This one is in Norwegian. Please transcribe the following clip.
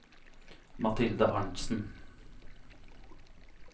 Mathilde Arntsen